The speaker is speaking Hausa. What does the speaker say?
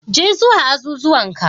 Je zuwa azuzuwan ka,